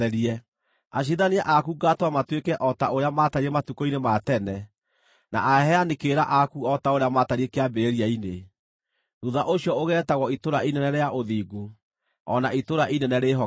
Aciirithania aku ngaatũma matuĩke o ta ũrĩa maatariĩ matukũ-inĩ ma tene, na aheani kĩrĩra aku o ta ũrĩa maatariĩ kĩambĩrĩria-inĩ. Thuutha ũcio ũgeetagwo Itũũra Inene rĩa Ũthingu, o na Itũũra Inene Rĩĩhokeku.”